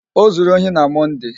O zuru ohi na Mọnde.